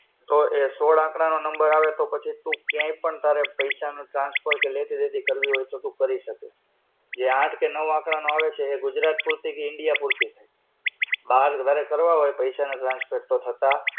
તો એ સોળ આંકડાનો number આવે તો પછી તું ક્યાંય પણ તારે પૈસા ને transfer કે લેતી-દેતી કરવી હોય તો તું કરી શકે. જે આંઠ કે નવ આંકડાનો આવે છે તે ગુજરાત પૂરતી કે India પૂરતી જ. બાર તારે કરવા હોય પૈસા ત્યાં transfer તો થતા